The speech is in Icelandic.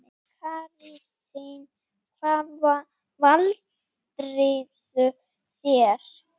Katrín: Hvað valdirðu þér?